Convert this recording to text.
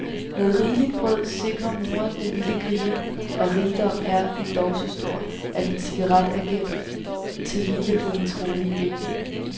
Med rigeligt brød sikrer moren den lille kriger, og rigdommen er endog så stor, at en cigaret er gemt til hvile på hendes rolige ben.